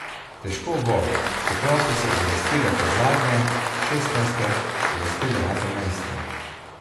Težko bo, čeprav so se uvrstile kot zadnje, šestnajste, uvrstile na prvenstvo.